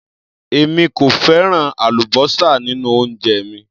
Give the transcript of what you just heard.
Èmi kò fẹ́ràn àlúbósà nínú oúnjẹ mi.